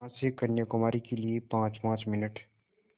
यहाँ से कन्याकुमारी के लिए पाँचपाँच मिनट